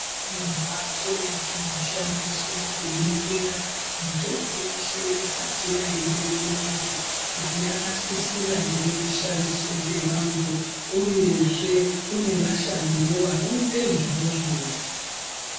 Mbatso dzinoshandiswe kuningirwa mitombo yeshe isati yaende kuvantu kuti yakasisira ere kushandiswa ngevantu uyezve kune vashandiwo vanoite izvozvo.